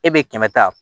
E be kɛmɛ ta